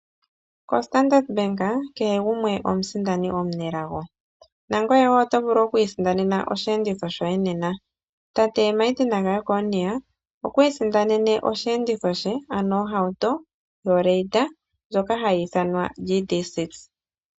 KoStandard bank kehe gumwe omusindani omunelago, nangoye wo oto vulu oku isindanena oshiyenditho shoye nena, tate Martin ga Jeckonia okwi isindanene oshiyenditho she ano ohauto yo Raider ndjoka hayi ithanwa GD6.